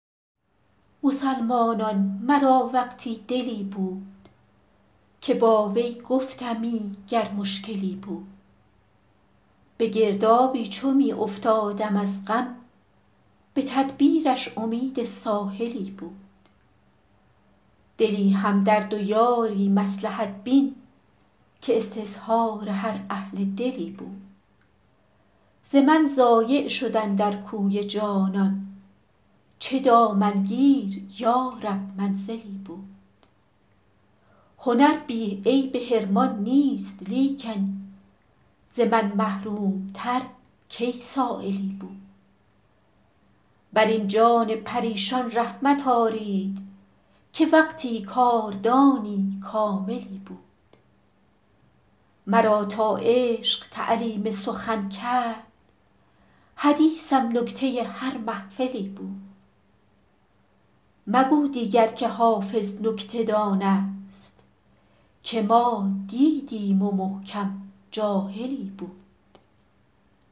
مسلمانان مرا وقتی دلی بود که با وی گفتمی گر مشکلی بود به گردابی چو می افتادم از غم به تدبیرش امید ساحلی بود دلی همدرد و یاری مصلحت بین که استظهار هر اهل دلی بود ز من ضایع شد اندر کوی جانان چه دامنگیر یا رب منزلی بود هنر بی عیب حرمان نیست لیکن ز من محروم تر کی سایلی بود بر این جان پریشان رحمت آرید که وقتی کاردانی کاملی بود مرا تا عشق تعلیم سخن کرد حدیثم نکته هر محفلی بود مگو دیگر که حافظ نکته دان است که ما دیدیم و محکم جاهلی بود